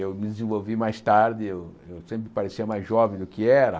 Eu me desenvolvi mais tarde, eu sempre parecia mais jovem do que era.